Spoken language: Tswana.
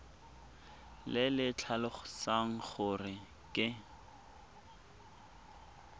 le le tlhalosang gore ke